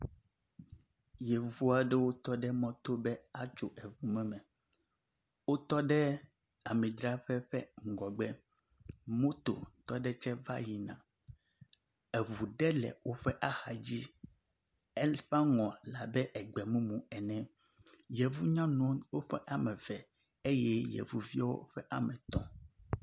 Yevua ɖewo tɔ ɖe mɔto ba atso eŋumɔme. Wotɔ ɖe amidxrƒe ƒe ŋgɔgbe. Mototɔ ɖe tse va yina. Eŋu ɖe le woƒe axa dzi. Eƒe aŋɔ le abe egbɔemumu ene. Yevunyɔnu woƒe ame eve eye yevuviwo woƒe ame etɔ̃.